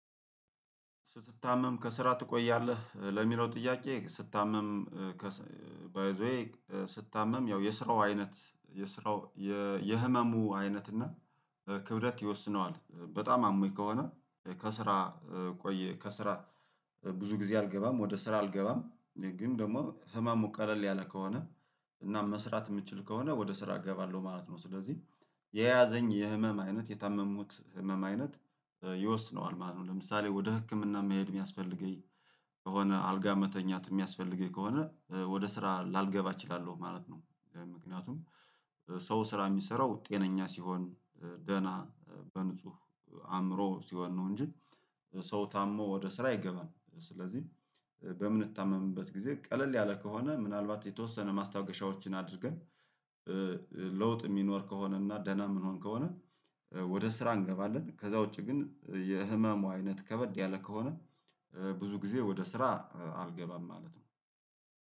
ስትታመም ከስራ ትቆያለህ ለሚለው ጥያቄ ስታመም ባይ ዘ ዌይ ስታመም ያው የስራው አይነት የስራው የህመሙ አይነት እና ክብደት ይወስነዋል በጣም አሞኝ ከሆነ ከስራ ቆየ ከስራ ብዙ ጊዜ አልገባም ወደ ስራ አልገባም ግን ደግሞ ህማም ሙቀለል ያለ ከሆነ እናም መስራት የምችል ከሆነ ወደ ስራ እገባለሁ ማለት ነው ስለዚህ የያዘኝ የህመም አይነት የታመሙት ህመም አይነት ይወስነዋል ማለት ነው ለምሳሌ ወደ ህክምና መሄድ የሚያስፈልገኝ ከሆነ አልጋ መተኛት የሚያስፈልገኝ ከሆነ ወደ ስራ ላልገባ እችላለሁ ማለት ነው። ምክንያቱም ሰው ስራ የሚሰራው ጤነኛ ሲሆን ደህና በንጹህ አእምሮ ሲሆን ነው እንጂ ሰው ታሞ ወደ ስራ አይገባም ስለዚህ በምንታመምበት ጊዜ ቀለል ያለ ከሆነ ምናልባት የተወሰነ ማስታገሻዎችን አድርገን ለውጥ የሚኖር ከሆነ እና ደህና የምንሆን ከሆነ ወደ ስራ እንገባለን ከዛ ውጪ ግን የህመሙ አይነት ከበድ ያለ ከሆነ ብዙ ጊዜ ወደ ስራ አልገባም ማለት ነው